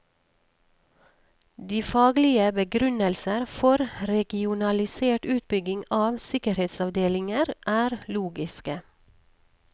De faglige begrunnelser for regionalisert utbygging av sikkerhetsavdelinger er logiske.